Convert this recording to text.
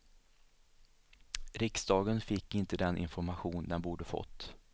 Riksdagen fick inte den information den borde fått.